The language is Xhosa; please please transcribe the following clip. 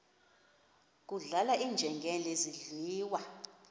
kudlala iinjengele zidliwa